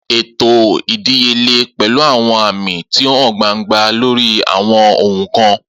Eto idiyele pẹlu àwọn aami ti o han gbangba lori àwọn ohun kan.